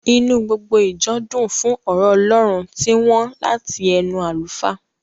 Inú gbogbo ìjọ dùn fún ọ̀rọ̀ ọlọ́run tí wọ́n láti ẹnu àlùfáà.